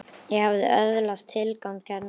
Ég hafði öðlast tilgang þarna.